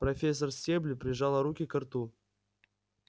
профессор стебль прижала руки ко рту